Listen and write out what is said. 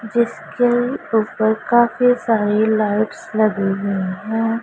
जिसके ऊपर काफी सारी लाइट्स लगी हुईं हैं।